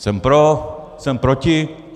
Jsem pro, jsem proti.